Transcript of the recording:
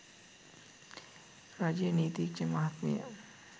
රජයේ නීතිඥ මහත්මිය